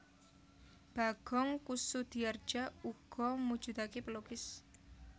Bagong Kussudiardja uga mujudake pelukis